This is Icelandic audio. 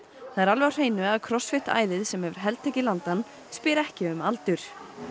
það er alveg á hreinu að æðið sem hefur heltekið landann spyr ekki um aldur